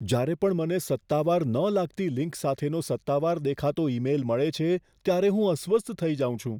જ્યારે પણ મને સત્તાવાર ન લાગતી લિંક સાથેનો સત્તાવાર દેખાતો ઈમેઇલ મળે છે ત્યારે હું અસ્વસ્થ થઈ જાઉં છું.